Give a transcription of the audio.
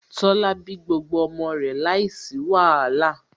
Tola bí gbogbo ọmọ rẹ̀ láìsí wàhálà